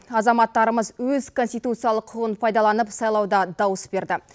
азаматтарымыз өз конституциялық құқығын пайдаланып сайлауда дауыс берді